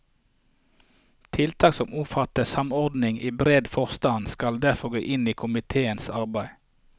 Tiltak som omfatter samordning i bred forstand skal derfor gå inn i komitéens arbeid.